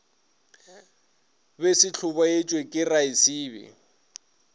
be se hlobaetšwa ke raesibe